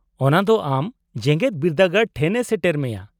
-ᱚᱱᱟ ᱫᱚ ᱟᱢ ᱡᱮᱜᱮᱫ ᱵᱤᱨᱫᱟᱹᱜᱟᱲ ᱴᱷᱮᱱ ᱮ ᱥᱮᱴᱮᱨ ᱢᱮᱭᱟ ᱾